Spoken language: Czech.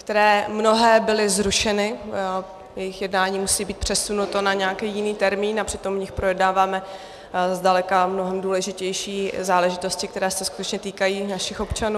... které mnohé byly zrušeny, jejich jednání musí být přesunuto na nějaký jiný termín, a přitom v nich projednáváme zdaleka mnohem důležitější záležitosti, které se skutečně týkají našich občanů.